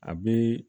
A bɛ